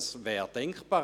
Dies wäre denkbar.